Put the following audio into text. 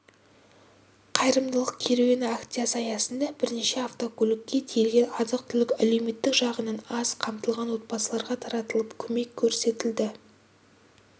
қайырымдылық керуені акциясы аясында бірнеше автокөлікке тиелген азық-түлік әлеуметтік жағынан аз қамтылған отбасыларға таратылып көмек көрсетілді